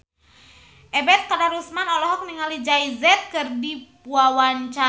Ebet Kadarusman olohok ningali Jay Z keur diwawancara